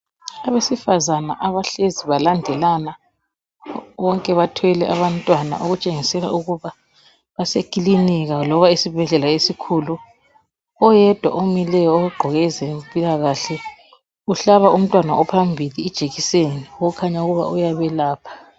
Abesifazane abahlezi balandelana bonke bathwele abantwana okutshengisela ukuba baseklinika loba esibhedlela esikhulu, oyedwa omileyo ogqoke ezempilakahle uhlaba umntwana ophambili ijekiseni okukhanya uyabelapha.